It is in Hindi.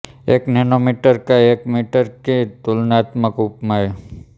एक नैनोमीटर का एक मीटर की तुलनात्मक उपमाएं